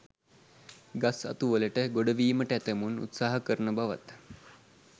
ගස් අතු වලට ගොඩවීමට ඇතැමුන් උත්සාහ කරන බවත්